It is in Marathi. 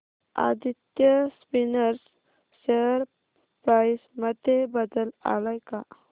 आदित्य स्पिनर्स शेअर प्राइस मध्ये बदल आलाय का